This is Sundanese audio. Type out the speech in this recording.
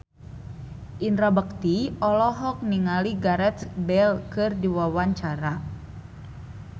Indra Bekti olohok ningali Gareth Bale keur diwawancara